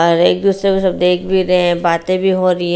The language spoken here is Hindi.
और एक दूसरे को सब देख भी रहे हें बातें भी हो रही हैं।